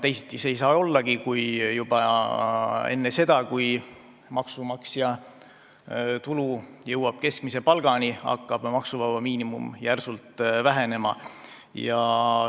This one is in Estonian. Teisiti ei saa see ollagi, kui juba enne seda, kui maksumaksja tulu jõuab keskmise palgani, hakkab maksuvaba miinimum järsult vähenema.